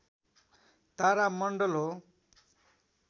तारा मण्डल हो